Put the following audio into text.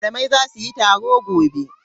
Malamai za su yi taro gobe.